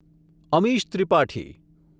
Amish Tripathi